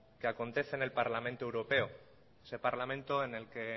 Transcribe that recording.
que acontece en el parlamento europeo ese parlamento en que en